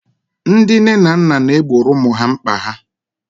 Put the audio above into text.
ndị nne na nna na-egboro ụmụ ha mkpa ha